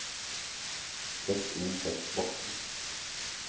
Sett inn tekstboks